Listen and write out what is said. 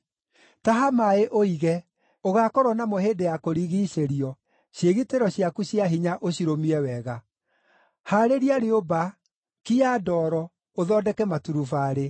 Taha maaĩ ũige, ũgaakorwo namo hĩndĩ ya kũrigiicĩrio, ciĩgitĩro ciaku cia hinya ũcirũmie wega! Haarĩria rĩũmba, kia ndoro, ũthondeke maturubarĩ.